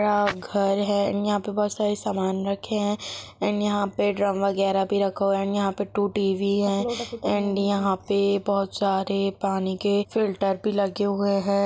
घर है यहां पे बहुत सारे समान रखे हैं एण्ड यहाँ पे ड्रम वगैरा भी रखा हुआ है एण्ड यहाँ पे टू टी_वी है एण्ड यहाँ पे बहुत सारे पानी के फ़िल्टर भी लगे हुए है।